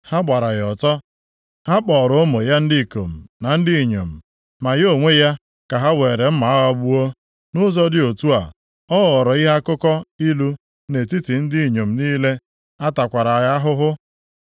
Ha gbara ya ọtọ, ha kpọọrọ ụmụ ya ndị ikom na ndị inyom, ma ya onwe ya ka ha were mma agha gbuo. Nʼụzọ dị otu a, ọ ghọrọ ihe akụkọ ilu nʼetiti ndị inyom niile, a takwara ya ahụhụ.